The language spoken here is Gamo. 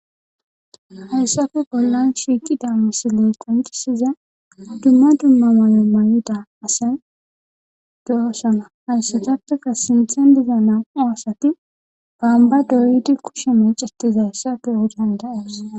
Haysappe bollan shiiqida misilen qonciza dumma dumma mayo mayida asay de'osona, haysatappeka sinthan diza nam'u asat bomba doyid kushe mecetizaysa beyo danda'osi.